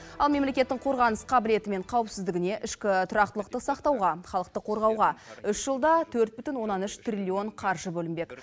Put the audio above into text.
ал мемлекеттің қорғаныс қабілеті мен қауіпсіздігіне ішкі тұрақтылықты сақтауға халықты қорғауға үш жылда төрт бүтін оннан үш триллион қаржы бөлінбек